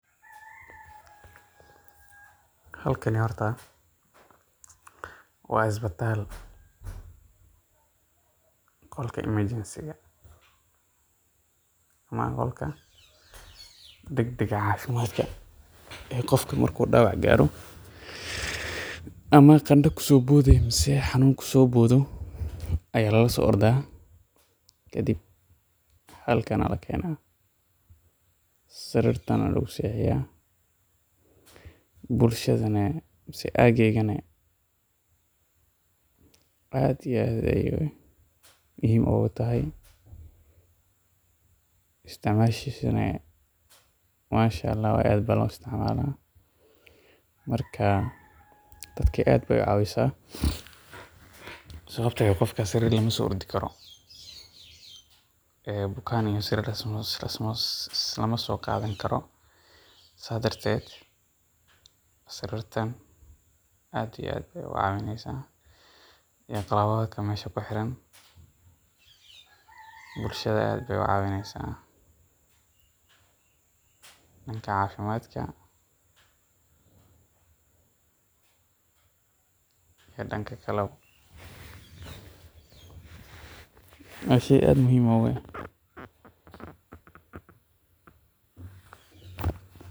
Halkani horta waa isbitaal, qolka emergency ,ama qolka dagdaga cafimaadka oo qofka markuu dawac gaaro, ama qanda kusoo bode ama xanuun kusoo boodo ayaa la geeya, kadib halkan ayaa lakeena, sariirtan ayaa lagu seexiya, dadka bulshadana ageyga aad iyo aad ayeey muhiim ugu tahay, isticmashisana aad ayaa loo isticmaala, marka dadka aad beey ucawisa, sababta oo ah qofka sariir lama soo ordi Karo, bukaan iyo sariir lis lama soo qaadi Karo, sidaas darteed sariirtan aad iyo aad ayeey ucawineysa, bulshada aad ayeey ucawineysa, danka cafimaadka iyo danka kalaba, waa sheey aad muhiim u ah.